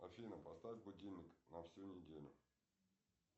афина поставь будильник на всю неделю